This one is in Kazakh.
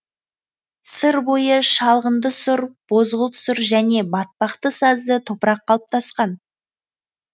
сыр бойы шалғынды сұр бозғылт сұр және батпақты сазды топырақ қалыптасқан